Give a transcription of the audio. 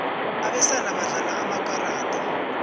abesana badlala amakarada